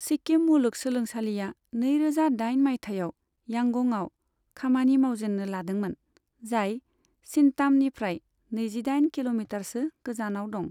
सिक्किम मुलुग सोलोंसालिया नैरोजा दाइन मायथाइयाव यांगंआव खामानि मावजेन्नो लादोंमोन, जाय सिंतामनिफ्राय नैजिदाइन किल'मिटारसो गोजानाव दं।